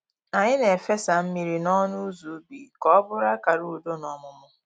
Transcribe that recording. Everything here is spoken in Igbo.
Anyị na-efesa mmiri n’ọnụ ụzọ ubi ka ọ bụrụ akara udo na ọmụmụ